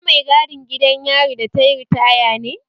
Ita mai gadin gidan yari da tayi ritaya ne?